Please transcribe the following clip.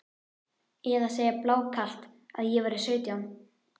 Eða segja blákalt að ég væri sautján?